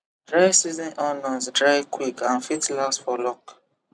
dry season onions dry quick and fit last for long